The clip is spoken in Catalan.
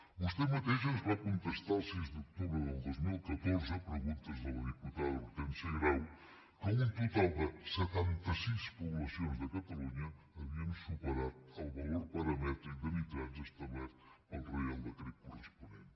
vostè mateix ens va contestar el sis d’octubre del dos mil catorze a preguntes de la diputada hortènsia grau que un total de setanta sis poblacions de catalunya havien superat el valor paramètric de nitrats establert pel reial decret corresponent